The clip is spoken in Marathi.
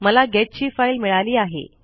मला गेट ची फाईल मिळाली आहे